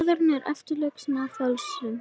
Maðurinn er eftirlíking af fölsun.